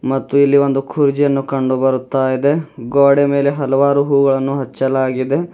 ಮತ್ತು ಇಲ್ಲಿ ಒಂದು ಕುರ್ಚಿಯನ್ನು ಕಂಡು ಬರುತ್ತಾ ಇದೆ ಗೋಡೆಯ ಮೇಲೆ ಹಲವಾರು ಹೂಗಳನ್ನು ಅಚ್ಚಲಾಗಿದೆ.